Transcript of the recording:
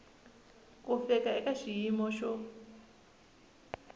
ku fika eka xiyimo xo